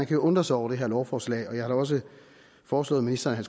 kan undre sig over det her lovforslag og jeg har også foreslået ministeren at